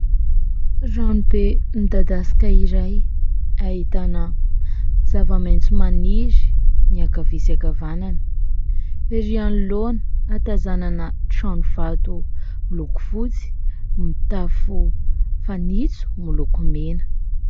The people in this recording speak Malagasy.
Ranobe midadasika izay ahitana zava-maitso maniry ny ankavia sy ankavanana. Erỳ anoloana ahatazanana trano vato miloko fotsy mitafo fanitso miloko mena.